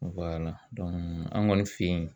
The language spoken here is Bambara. an kɔni fɛ yen